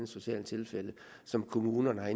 socialt tilfælde som kommunen har